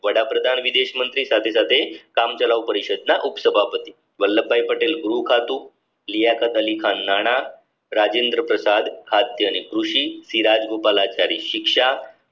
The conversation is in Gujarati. વડાપ્રધાન વિદેશ મંત્રી સાથે સાથે કામચલાઉ પરિષદના ઉપસભાપતિ વલ્લભભાઈ પટેલ ગૃહ ખાતું અલી ખાન નાણા રાજેન્દ્ર પ્રસાદ આધ્યની કૃષિરાજગોપાલ આચાર્ય શિક્ષા